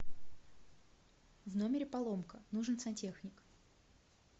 в номере поломка нужен сантехник